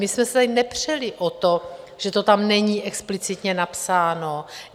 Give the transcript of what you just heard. My jsme se tady nepřeli o to, že to tam není explicitně napsáno.